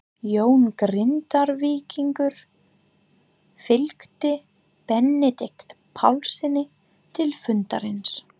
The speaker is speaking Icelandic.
Jón Grindvíkingur fylgdi Benedikt Pálssyni til fundarins.